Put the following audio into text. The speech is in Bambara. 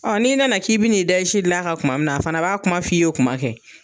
n'i nana k'i bɛ n'i da i si dilan kan kuma min na, a fana b'a kuma f'i ye o kuma kɛ.